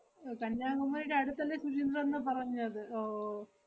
കന്യാകുമാരിടെ അടുത്തല്ലേ ശുചീന്ദ്രം ന്ന് പറഞ്ഞത് ഓ ഓ